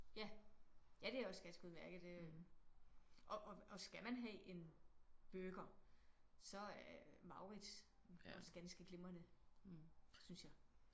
Ja ja det er også ganske udmærket øh og og skal man have en burger så er Mauritz også ganske glimrende synes jeg